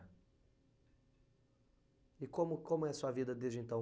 E como como é a sua vida desde então?